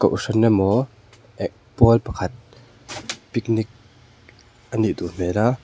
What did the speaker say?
kohhran emaw eh tual pakhat picnic anih duh hmel a.